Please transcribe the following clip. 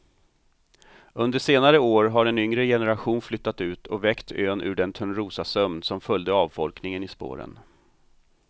Under senare år har en yngre generation flyttat ut och väckt ön ur den törnrosasömn som följde avfolkningen i spåren.